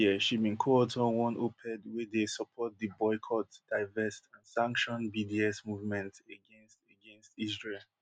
last year she bin coauthor one oped wey dey support di boycott divest and sanction bds movement against against israel